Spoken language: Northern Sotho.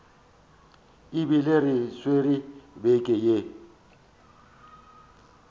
ebile re swere beke ya